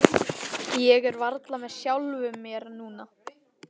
Ég er varla með sjálfum mér núna.